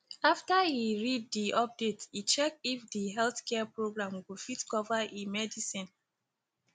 after e read di update e check if di healthcare program go fit cover e medicine